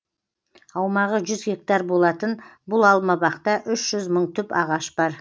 аумағы жүз гектар болатын бұл алмабақта үш жүз мың түп ағаш бар